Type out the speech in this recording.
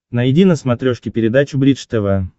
найди на смотрешке передачу бридж тв